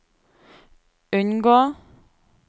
unngå